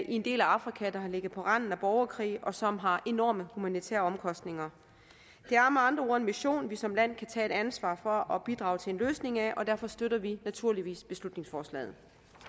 en del af afrika der har ligget på randen af borgerkrig og som har enorme humanitære omkostninger det er med andre ord en mission vi som land kan tage et ansvar for og bidrage til en løsning af og derfor støtter vi naturligvis beslutningsforslaget